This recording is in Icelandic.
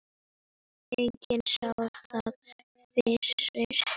Enginn sá það fyrir.